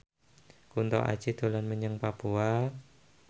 Kunto Aji dolan menyang Papua